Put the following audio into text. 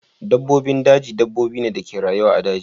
Dabbobin daji dabbobi ne da ke rayuwa a daji.